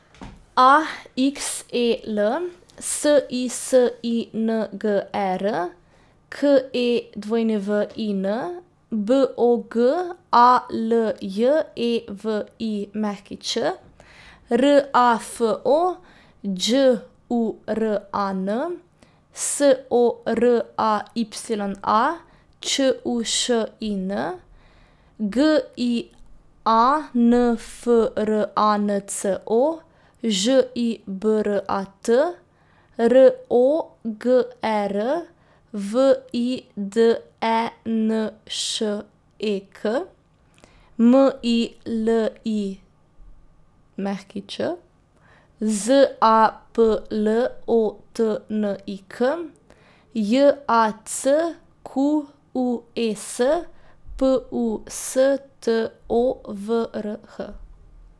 A X E L, S I S I N G E R; K E W I N, B O G A L J E V I Ć; R A F O, Đ U R A N; S O R A Y A, Č U Š I N; G I A N F R A N C O, Ž I B R A T; R O G E R, V I D E N Š E K; M I L I Ć, Z A P L O T N I K; J A C Q U E S, P U S T O V R H.